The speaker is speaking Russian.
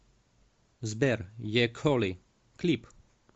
сбер е коли клип